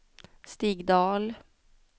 Stig Dahl